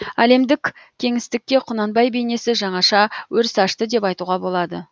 әлемдік кеңістікке құнанбай бейнесі жаңаша өріс ашты деп айтуға болады